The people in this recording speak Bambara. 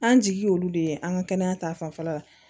An jigi y'olu de ye an ŋa kɛnɛya ta fanfɛla la